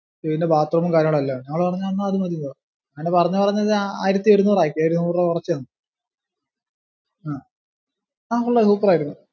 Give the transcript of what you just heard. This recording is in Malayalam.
പിന്നെ bath room ഉം കാര്യങ്ങളും എല്ലാം ഉണ്ട്. ഞങ്ങൾ പറഞ്ഞെന്നാ അത് മതീന്ന് പറഞ്ഞു. അങ്ങിനെ പറഞ്ഞു പറഞ്ഞൊരു ആയിരത്തി ഒരുനൂറ് ആക്കി ഒരു നൂറു രൂപ കുറച്ചു തന്നു. ആ കൊള്ളാം super ആരുന്നു.